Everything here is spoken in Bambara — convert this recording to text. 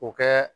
O kɛ